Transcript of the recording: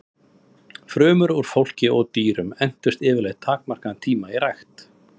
Frumur úr fólki og dýrum entust yfirleitt takmarkaðan tíma í rækt.